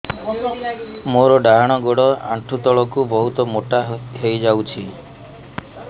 ମୋର ଡାହାଣ ଗୋଡ଼ ଆଣ୍ଠୁ ତଳକୁ ବହୁତ ମୋଟା ହେଇଯାଉଛି